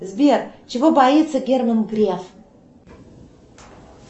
сбер чего боится герман греф